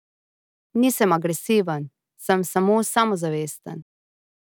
Nisem agresiven, sem samo samozavesten.